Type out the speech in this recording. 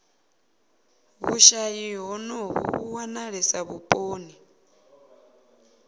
vhushayi honovhu vhu wanalesa vhuponi